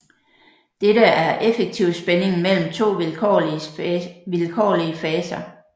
Dette er effektivspændingen mellem to vilkårlige faser